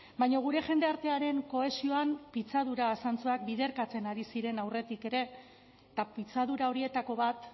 baina gure jendartearen kohesioan pitzadura zantzuak biderkatzen ari ziren aurretik ere eta pitzadura horietako bat